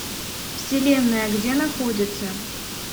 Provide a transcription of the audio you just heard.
вселенная где находится